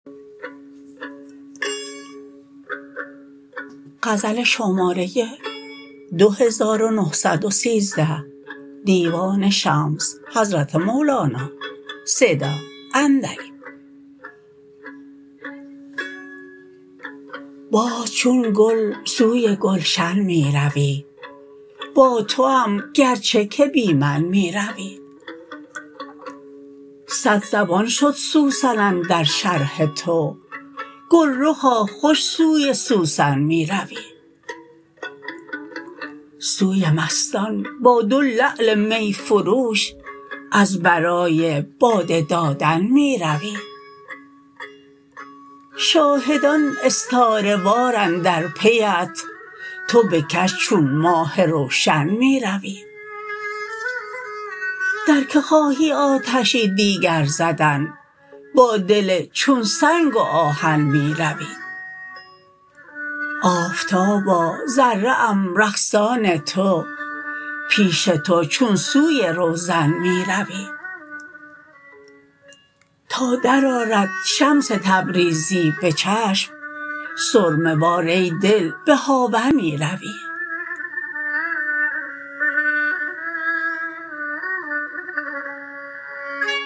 باز چون گل سوی گلشن می روی با توام گرچه که بی من می روی صدزبان شد سوسن اندر شرح تو گلرخا خوش سوی سوسن می روی سوی مستان با دو لعل می فروش از برای باده دادن می روی شاهدان استاره وار اندر پیت تو بکش چون ماه روشن می روی در کی خواهی آتشی دیگر زدن با دل چون سنگ و آهن می روی آفتابا ذره ام رقصان تو پیش تو چون سوی روزن می روی تا درآرد شمس تبریزی به چشم سرمه وار ای دل به هاون می روی